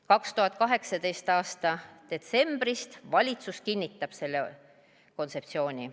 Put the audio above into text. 2018. aasta detsembris valitsus kinnitas selle kontseptsiooni.